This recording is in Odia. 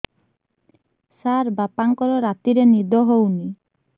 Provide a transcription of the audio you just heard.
ସାର ବାପାଙ୍କର ରାତିରେ ନିଦ ହଉନି